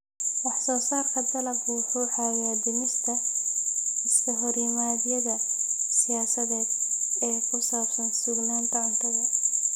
Wax-soo-saarka dalaggu wuxuu caawiyaa dhimista iskahorimaadyada siyaasadeed ee ku saabsan sugnaanta cuntada.